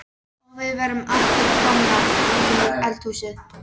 Og við erum aftur komnar í eldhúsið.